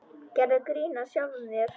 Gerðu grín að sjálfum þér.